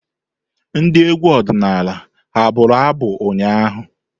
Ndị egwu ọdịnala ha abụru abu ụnyaahụ?